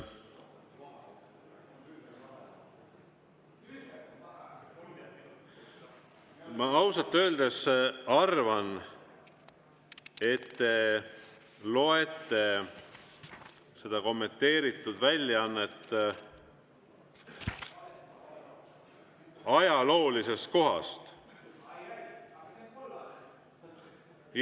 Ma ausalt öeldes arvan, et te loete seda kommenteeritud väljaannet ajaloolisest kohast.